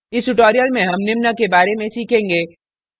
इस tutorial में हम निम्न के बारे में सीखेंगे